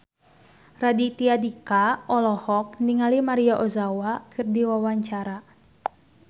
Raditya Dika olohok ningali Maria Ozawa keur diwawancara